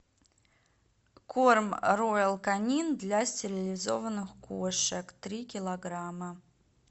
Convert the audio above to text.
корм роял канин для стерилизованных кошек три килограмма